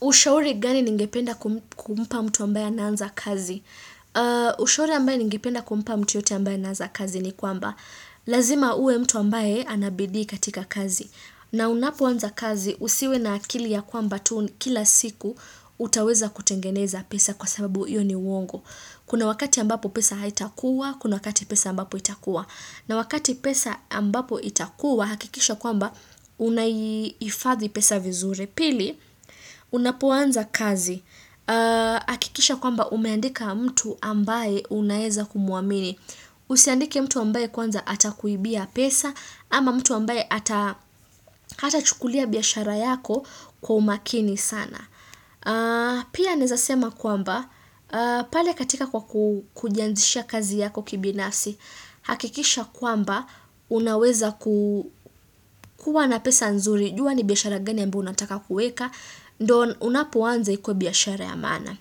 Ushauri gani ningependa kumpa mtu ambaye anaanza kazi? Ushauri ambaye ningependa kumpa mtu yeyote ambaye anaanza kazi ni kwamba. Lazima uwe mtu ambaye anabidii katika kazi. Na unapoanza kazi, usiwe na akili ya kwamba tu kila siku, utaweza kutengeneza pesa kwa sababu hiyo ni uongo. Kuna wakati ambapo pesa haitakuwa, kuna wakati pesa ambapo itakuwa. Na wakati pesa ambapo itakuwa, hakikisha kwamba unaihifadhi pesa vizuri. Pili, unapoanza kazi. Hakikisha kwamba umeandika mtu ambaye unaweza kumuamini. Usiandike mtu ambaye kwanza atakuibia pesa ama mtu ambaye hata chukulia biashara yako kwa umakini sana. Pia nawezasema kwamba, pale katika kwa kujianzisha kazi yako kibinasi hakikisha kwamba, unaweza kuwa na pesa nzuri jua ni biashara gani ambyo unataka kuweka Ndio unapoanza ikuwe biashara ya maana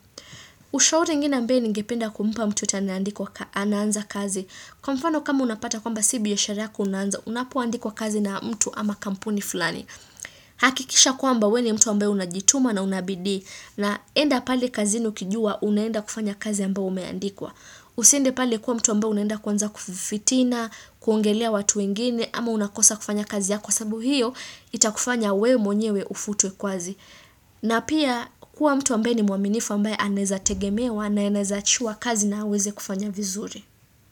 Ushauri ingine ambao ningependa kumupa mtu yeyote anaanza kazi Kwa mfano kama unapata kwamba si biashara ya kunanza Unapuwanza kazi na mtu ama kampuni fulani hakikisha kwamba, wewe ni mtu ambaye unajituma na unabidii na enda pale kazini ukijua, unaenda kufanya kazi ambao umeandikwa. Usiende pale kuwa mtu ambao unaenda kuanza kufitina, kuongelea watu wengine, ama unakosa kufanya kazi yako sababu hiyo, itakufanya wewe mwenyewe ufutwe kazi. Na pia kuwa mtu ambaye ni mwaminifu ambaye anayewezategemewa na aneyeza achiwa kazi na aweze kufanya vizuri.